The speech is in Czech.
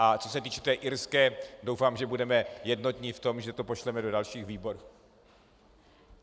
A co se týče té irské, doufám, že budeme jednotní v tom, že to pošleme do dalších výborů.